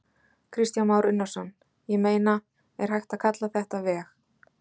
Kristján Már Unnarsson: Ég meina, er hægt að kalla þetta veg?